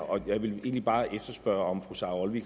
jeg ville egentlig bare spørge om fru sara olsvig